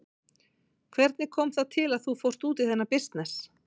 Hvernig kom það til að þú fórst út í þennan bisness?